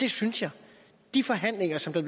det synes jeg de forhandlinger som der